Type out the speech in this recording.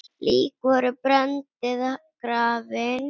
Lík voru brennd eða grafin.